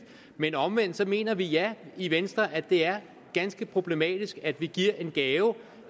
men omvendt mener vi i venstre at det er ganske problematisk at vi giver en gave